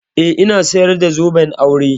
Eh, ina sayar da zoben aure.